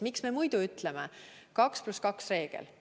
Miks me muidu ütleme: 2 + 2 reegel?